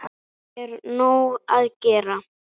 Það er nóg að gera.